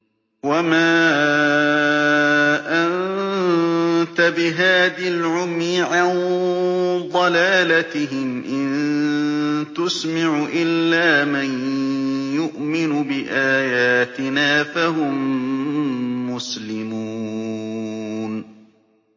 وَمَا أَنتَ بِهَادِي الْعُمْيِ عَن ضَلَالَتِهِمْ ۖ إِن تُسْمِعُ إِلَّا مَن يُؤْمِنُ بِآيَاتِنَا فَهُم مُّسْلِمُونَ